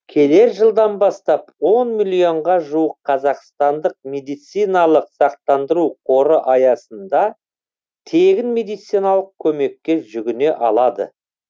келер жылдан бастап он миллионға жуық қазақстандық медициналық сақтандыру қоры аясында тегін медициналық көмекке жүгіне алады